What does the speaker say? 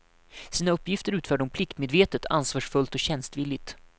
Sina uppgifter utförde hon pliktmedvetet, ansvarsfullt och tjänstvilligt.